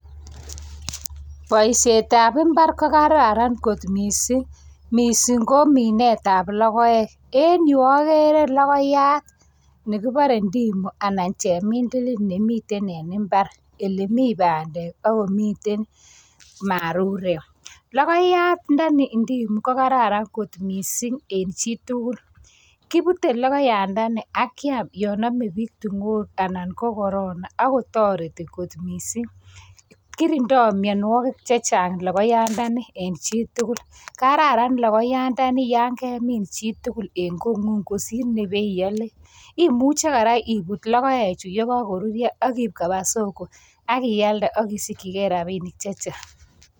Boishietab imbar kokararan kot missing, missing ko minetab logoek, en yuh okere logooyat nekibore indimu anan chemindilil. Nemitet en imbar ele mi bandek ak komiten marurek. Logoyandani kokararan kot missing en chitugul, minute logoyandani ak kiam yon amee book ting'oek, anan ko Corona. Akotoretii kot missing, kirindo Mionwogik chechang logoyandani en chitugul. kararan logoyaandani, yon kemin chitugul en kongung kosiir Nebo iole, imuche ibuut kora logoechu ye kokoruryoo ak iib koba solo, ak ialdee ak isikyigei rabinik chechang.